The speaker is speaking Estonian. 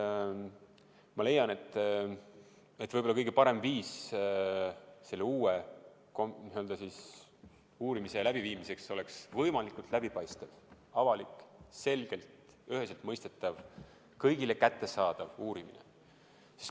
Ma leian, et kõige parem viis uue uurimise läbiviimiseks oleks teha võimalikult läbipaistev, avalik, selgelt ja üheselt mõistetav, kõigile kättesaadav uurimine.